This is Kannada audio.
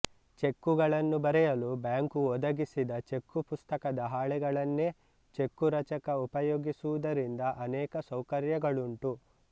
ಚೆಕ್ಕುಗಳನ್ನು ಬರೆಯಲು ಬ್ಯಾಂಕು ಒದಗಿಸಿದ ಚೆಕ್ಕು ಪುಸ್ತಕದ ಹಾಳೆಗಳನ್ನೇ ಚೆಕ್ಕುರಚಕ ಉಪಯೋಗಿಸುವುದರಿಂದ ಅನೇಕ ಸೌಕರ್ಯಗಳುಂಟು